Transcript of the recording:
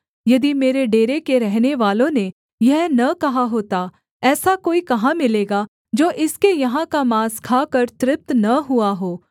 यदि मेरे डेरे के रहनेवालों ने यह न कहा होता ऐसा कोई कहाँ मिलेगा जो इसके यहाँ का माँस खाकर तृप्त न हुआ हो